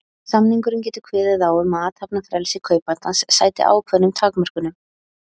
Samningurinn getur kveðið á um að athafnafrelsi kaupandans sæti ákveðnum takmörkunum.